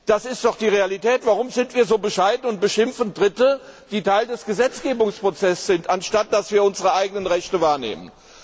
Das ist doch die Realität. Warum sind wir so bescheiden und beschimpfen Dritte, die Teil des Gesetzgebungsprozesses sind, anstatt dass wir unsere eigenen Rechte wahrnehmen.